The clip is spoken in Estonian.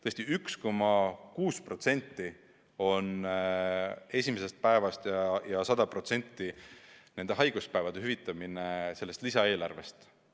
Tõesti, vaid 1,6% võtaks esimesest päevast alates 100% haiguspäevade hüvitamine sellest lisaeelarvest.